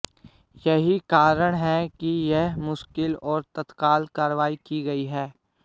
यही कारण है कि यह मुश्किल और तत्काल कार्रवाई की गई है